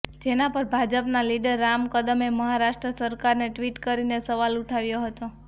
જેના પર ભાજપના લીડર રામ કદમે મહારાષ્ટ્ર સરકારને ટ્વીટ કરીને સવાલ ઉઠાવ્યો હતો